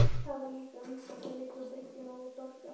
Það var líka vinsælt að liggja á bryggjunni og dorga.